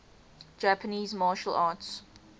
japanese martial arts